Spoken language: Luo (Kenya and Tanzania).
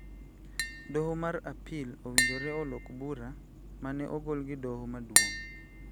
Doho mar Apil owinjore olok bura ma ne ogol gi Doho Maduong'